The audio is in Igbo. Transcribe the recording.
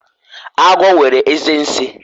agwo nwere eze nsi